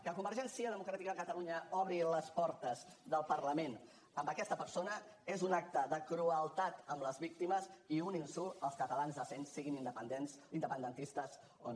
que convergència democràtica de catalunya obri les portes del parlament a aquesta persona és un acte de crueltat amb les víctimes i un insult als catalans decents siguin independentistes o no